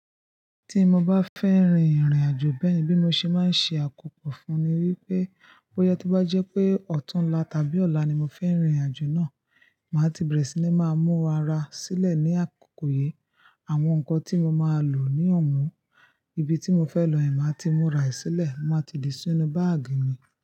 Tí mo bá fẹ́ rin ìrìnàjò bẹ́ẹ̀yen bí mo ṣe máa ń ṣe àkópọ̀ fún ní wípé bóyá tó bá jẹ́ pé ọ̀túnla tàbí ọ̀la ni mo fẹ́ rin ìrìnàjò náà, màá ti bẹ̀rẹ̀ sí ní máa mú ara sílẹ̀ ní àkókò yí. Àwọn nǹkan tí mo máa lò ní ọ̀wọ́n, ibi tí mo fẹ lọ yẹ̀n máa ti múra sílẹ̀, màá ti dì sí inú báàgì mi.